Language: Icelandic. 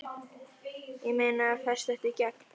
Ég meina, fæst þetta í gegn?